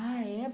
Ah, é?